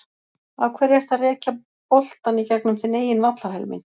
Af hverju ertu að rekja boltann í gegnum þinn eigin vallarhelming?